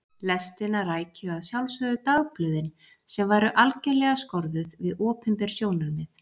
Lestina rækju að sjálfsögðu dagblöðin sem væru algerlega skorðuð við opinber sjónarmið.